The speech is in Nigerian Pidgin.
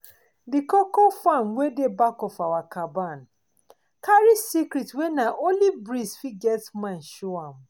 d koko farm wey dey back of our caban carry secrit wey na only breeze fit get mind to show am